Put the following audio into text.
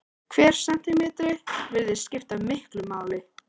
Hver sentímetri virðist skipta miklu máli.